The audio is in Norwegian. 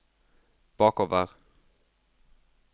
bakover